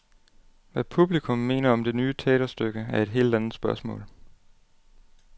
Hvad publikum mener om det nye teaterstykke, er et helt andet spørgsmål.